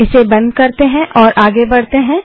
इसे बंद करते हैं और आगे बढ़ते हैं